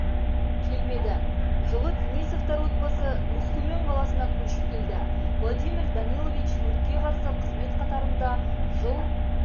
келмеді жылы денисовтар отбасы өскемен қаласына көшіп келді владимир данилович өртке қарсы қызмет қатарында жыл